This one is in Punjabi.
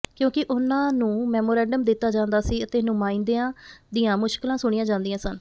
ਕਿਉਂਕਿ ਉਨ੍ਹਾਂ ਨੂੰ ਮੈਮੋਰੰਡਮ ਦਿੱਤਾ ਜਾਂਦਾ ਸੀ ਅਤੇ ਨੁਮਾਇੰਦਿਆ ਦੀਆਂ ਮੁਸ਼ਕਲਾਂ ਸੁਣੀਆ ਜਾਂਦੀਆਂ ਸਨ